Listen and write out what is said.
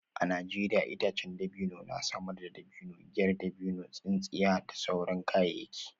A Najeriya itacen dabino na samar da dabino, giyar dabino, tsintsiya da sauran kayayyaki.